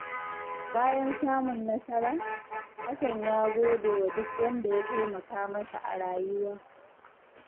Bayan samun nasara, Hassan ya gode wa duk wanda ya taimaka masa a rayuwa.